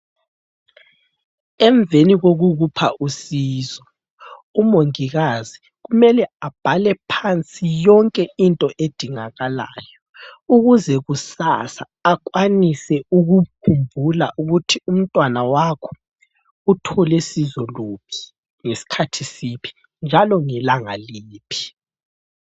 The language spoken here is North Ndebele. Emveni kokukupha usizo umongikazi kumele abhale phansi yonke into edingakalayo, ukuze kusasa, akwanise ukukhumbula ukuthi umntwana wakho uthole sizo luphi, ngesikhathi siphi njalo ngelanga liphi.